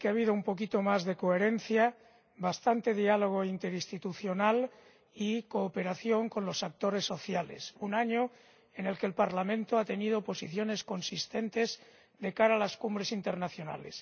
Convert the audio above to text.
Señor Presidente, cerramos un año en el que ha habido un poquito más de coherencia, bastante diálogo interinstitucional y cooperación con los actores sociales. Un año en el que el Parlamento ha tenido posiciones consistentes de cara a las cumbres internacionales.